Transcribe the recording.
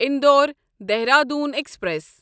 Indore Dehradun express